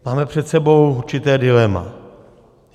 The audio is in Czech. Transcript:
Máme před sebou určité dilema.